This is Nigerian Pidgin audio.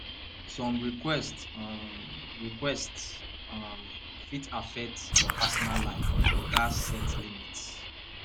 some requests um requests um fit affect your personal life you gatz set limits